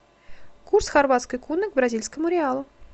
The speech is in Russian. курс хорватской куны к бразильскому реалу